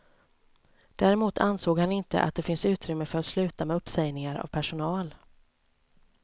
Däremot ansåg han inte att det finns utrymme för att sluta med uppsägningar av personal.